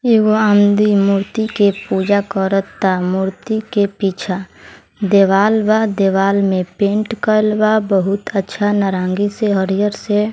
एगो आदमी मूर्ति के पूजा करता मूर्ति के पीछा दीवाल बा दिवाल में पेंट कलवा बहुत अच्छा नारंगी से हरियर से|